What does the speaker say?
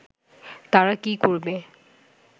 তারা কি করবে